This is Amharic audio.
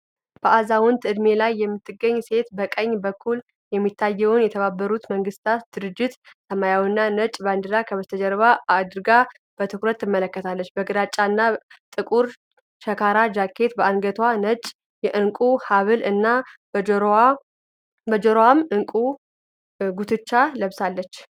በአዛውንት ዕድሜ ላይ የምትገኝ ሴት በቀኝ በኩል የሚታየውን የተባበሩት መንግስታት ድርጅት ሰማያዊና ነጭ ባንዲራ ከበስተጀርባ አድርጋ፤ በትኩረት ትመለከታለች። በግራጫና ጥቁር ሸካራ ጃኬት፣ በአንገቷም ነጭ የዕንቁ ሀብል እና በጆሮዋም ዕንቁ ጉትቻ ለብሳለች።